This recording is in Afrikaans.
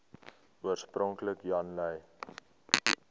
oorspronklik jan lui